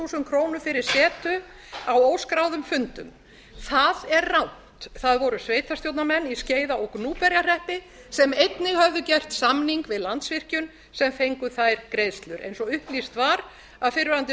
krónur fyrir setu á óskráðum fundum það er rangt það voru sveitarstjórnarmenn í skeiða og gnúpverjahreppi sem einnig höfðu gert samning við landsvirkjun sem fengu þær greiðslur eins og upplýst var af fyrrverandi